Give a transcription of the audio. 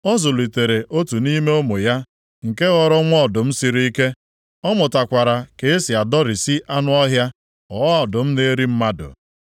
Ọ zụlitere otu nʼime ụmụ ya nke ghọrọ nwa ọdụm siri ike. Ọ mụtakwara ka e si adọrisi anụ ọhịa, ghọọ ọdụm na-eri mmadụ.